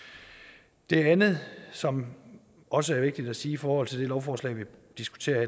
det andet som også er vigtigt at sige i forhold til det lovforslag vi diskuterer